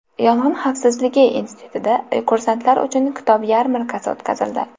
Yong‘in xavfsizligi institutida kursantlar uchun kitob yarmarkasi o‘tkazildi.